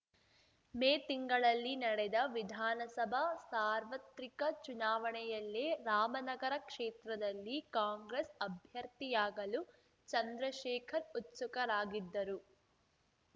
ಮೇ ತಿಂಗಳಲ್ಲಿ ನಡೆದ ವಿಧಾನಸಭಾ ಸಾರ್ವತ್ರಿಕ ಚುನಾವಣೆಯಲ್ಲೇ ರಾಮನಗರ ಕ್ಷೇತ್ರದಲ್ಲಿ ಕಾಂಗ್ರೆಸ್‌ ಅಭ್ಯರ್ಥಿಯಾಗಲು ಚಂದ್ರಶೇಖರ್‌ ಉತ್ಸುಕರಾಗಿದ್ದರು